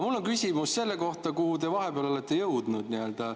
Mul on küsimus selle kohta, kuhu te vahepeal jõudnud olete.